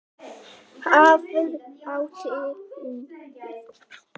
Hvað átti hún við?